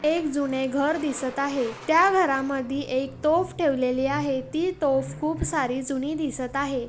एक जुने घर दिसत आहे. त्या घरामधी एक तोफ ठेवलेली आहे. ती तोफ खूपसारी जुनी दिसत आहे.